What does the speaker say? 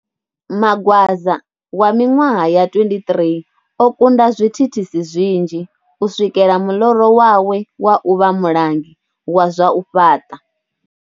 Magwaza wa miṅwaha ya 23 o kunda zwithithisi zwinzhi u swikela muloro wawe wa u vha mulanguli wa zwa u fhaṱa.